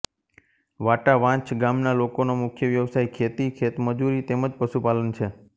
વાટાવાંછ ગામના લોકોનો મુખ્ય વ્યવસાય ખેતી ખેતમજૂરી તેમ જ પશુપાલન છે